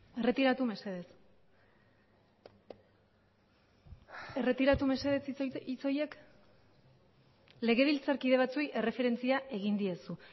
erretiratu mesedez erretiratu mesedez hitz horiek legebiltzarkide batzuei erreferentzia egin diezu